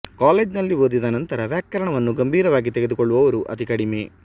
college ನಲ್ಲಿ ಓದಿದನಂತರ ವ್ಯಾಕರಣವನ್ನು ಗಂಭೀರವಾಗಿ ತೆಗೆದುಕೊಳ್ಳುವವರು ಅತಿ ಕಡಿಮೆ